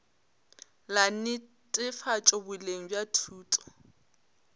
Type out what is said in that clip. la netefatšo boleng bja thuto